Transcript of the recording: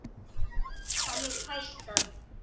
Þannig fæst að